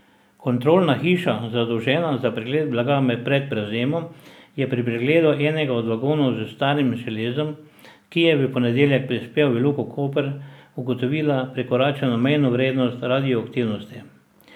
Kontrolna hiša, zadolžena za pregled blaga pred prevzemom, je pri pregledu enega od vagonov s starim železom, ki je v ponedeljek prispel v Luko Koper, ugotovila prekoračeno mejno vrednost radioaktivnosti.